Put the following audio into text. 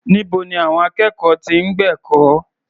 Níbo ni àwọn akẹ́kọ̀ọ́ ti ń gbẹ̀kọ́?